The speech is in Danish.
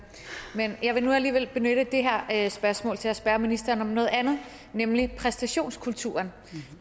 men jeg vil nu alligevel benytte det her spørgsmål til at spørge ministeren om noget andet nemlig præstationskulturen